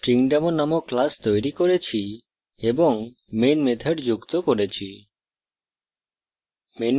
আমরা stringdemo নামক class তৈরি করেছি এবং main method যুক্ত করেছি